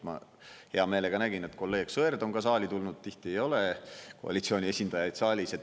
Ma hea meelega nägin, et kolleeg Sõerd on saali tulnud, tihti ei ole koalitsiooni esindajaid saalis.